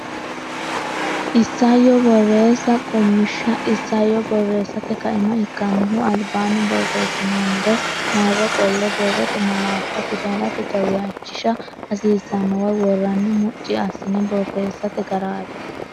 Isayyo Borreessa Qummishsha Isayyo borreessate kaima ikkannohu albanni borreessinoonnire marro qolle borrote malaattanna fidalete jawishsha hasiisannowa worranni mucci assine borreessate garaati.